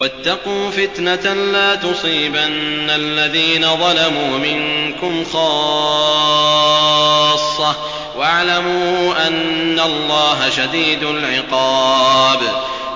وَاتَّقُوا فِتْنَةً لَّا تُصِيبَنَّ الَّذِينَ ظَلَمُوا مِنكُمْ خَاصَّةً ۖ وَاعْلَمُوا أَنَّ اللَّهَ شَدِيدُ الْعِقَابِ